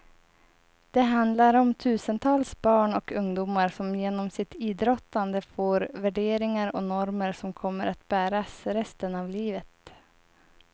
Det handlar om tusentals barn och ungdomar som genom sitt idrottande får värderingar och normer som kommer att bäras resten av livet.